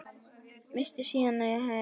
Missti síðan sitt eigið barn.